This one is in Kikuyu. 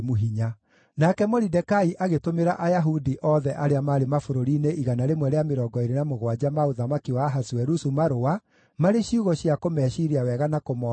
Nake Moridekai agĩtũmĩra Ayahudi othe arĩa maarĩ mabũrũri-inĩ 127 ma ũthamaki wa Ahasuerusu marũa, marĩ ciugo cia kũmeciiria wega na kũmoomĩrĩria,